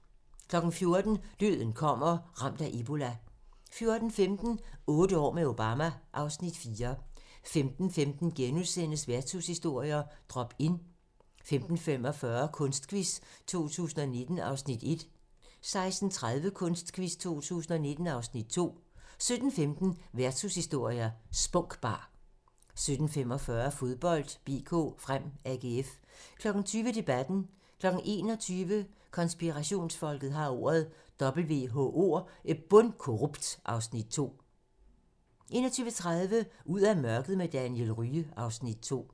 14:00: Døden kommer - Ramt af ebola 14:15: Otte år med Obama (Afs. 4) 15:15: Værtshushistorier: Drop Inn * 15:45: Kunstquiz 2019 (Afs. 1) 16:30: Kunstquiz 2019 (Afs. 2) 17:15: Værtshushistorier: Spunk Bar 17:45: Fodbold: BK Frem-AGF 20:00: Debatten 21:00: Konspirationsfolket har ordet - WHO er bundkorrupt (Afs. 2) 21:30: Ud af mørket med Daniel Rye (Afs. 2)